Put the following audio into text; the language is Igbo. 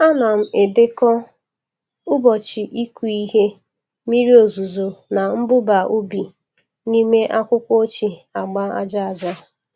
Ana m edekọ ụbọchị ịkụ ihe, mmiri ozuzo na mmụba ubi n’ime akwụkwọ ochie agba aja aja.